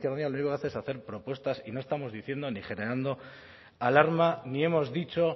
podemos izquierda unida hacer propuestas y no estamos diciendo ni generando alarma ni hemos dicho